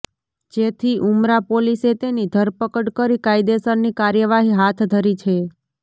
જેથી ઉમરા પોલીસે તેની ધરપકડ કરી કાયદેસરની કાર્યવાહી હાથ ધરી છે